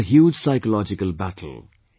It is a huge psychological battle